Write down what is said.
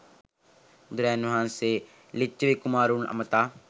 බුදුරජාණන් වහන්සේ ලිච්ඡවී කුමාරවරුන් අමතා